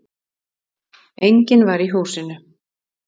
Enginn var í húsinu